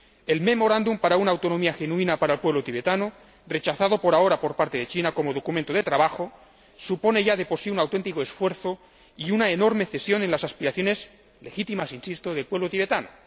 El memorándum para una autonomía genuina para el pueblo tibetano, rechazado por ahora por parte de China como documento de trabajo, supone ya de por sí un auténtico esfuerzo y una enorme cesión en las aspiraciones, legítimas, insisto, del pueblo tibetano.